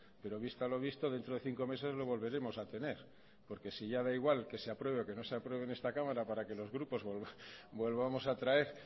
pero visto lo visto dentro de cinco meses lo volveremos a tener porque si ya da igual que se apruebe o que no se apruebe en esta cámara para que los grupos volvamos a traer